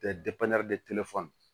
Tɛ